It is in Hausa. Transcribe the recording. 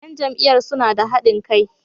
‘Yan jam’iyyar suna da hadin kai.